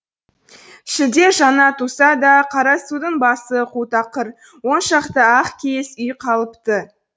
шілде жаңа туса да қарасудың басы қу тақыр он шақты ақ киіз үй қалыпты